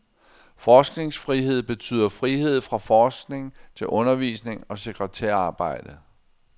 Forskningsfrihed betyder frihed fra forskning til undervisning og sekretærarbejde.